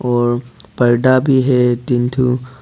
और पर्दा भी है तीन ठो।